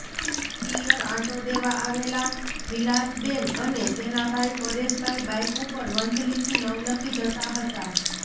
પિયર આંટો દેવા આવેલા વિલાસબેન અને તેના ભાઈ પરેશભાઈ બાઈક ઉપર વંથલીથી નવલખી જતા હતાં